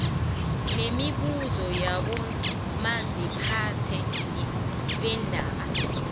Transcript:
nemibuso yabomaziphathe beendawo